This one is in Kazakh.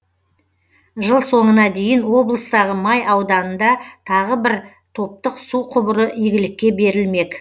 жыл соңына дейін облыстағы май ауданында тағы бір топтық су құбыры игілікке берілмек